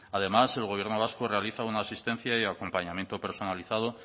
además el gobierno vasco realiza una asistencia y acompañamiento personalizado